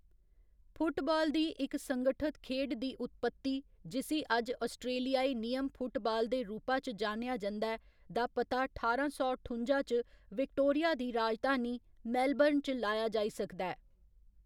Football दी इक संगठत खेढ दी उत्पत्ति जिसी अज्ज आस्ट्रेलियाई नियम फुटबाल दे रूपा च जानेआ जंदा ऐ, दा पता ठारां सौ ठुंजा च विक्टोरिया दी राजधानी मेलबर्न च लाया जाई सकदा ऐ।